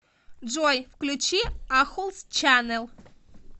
джой включи ахулс чанел